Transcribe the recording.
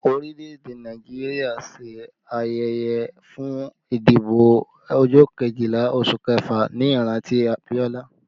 Orílẹ̀ èdè Nàìjíríà ṣe ayẹyẹ fún ìdìbò ọjọ́ Kejìlá oṣù kẹfà ní ìrántí Abiola